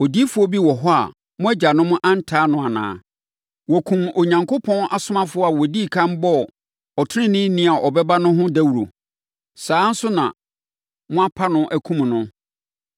Odiyifoɔ bi wɔ hɔ a mo agyanom antaa no anaa? Wɔkumm Onyankopɔn asomafoɔ a wɔdii ɛkan bɔɔ ɔteneneeni a ɔbɛba no ho dawuro. Saa ara nso na moapa no, akum no.